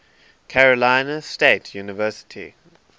carolina state university